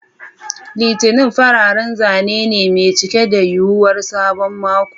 Litinin fararren zane ne mai cike da yuwuwar sabon mako.